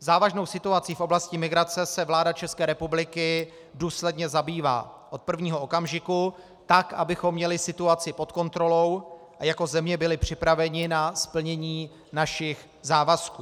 Závažnou situací v oblasti migrace se vláda České republiky důsledně zabývá od prvního okamžiku tak, abychom měli situaci pod kontrolou a jako země byli připraveni na splnění našich závazků.